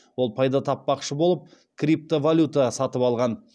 ол пайда таппақшы болып крипто валюта сатып алған